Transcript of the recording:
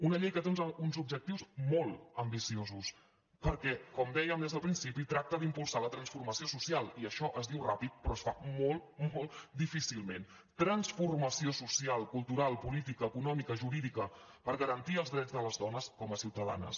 una llei que té uns objectius molt ambiciosos perquè com dèiem des del principi tracta d’impulsar la transformació social i això es diu ràpidament però es fa molt molt difícilment transfor·mació social cultural política econòmica jurídica per garantir els drets de les dones com a ciutadanes